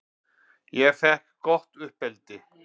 Ég fékk gott uppeldi.